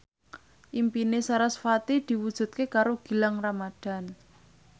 impine sarasvati diwujudke karo Gilang Ramadan